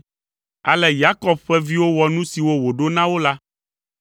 Ale Yakob ƒe viwo wɔ nu siwo wòɖo na wo la.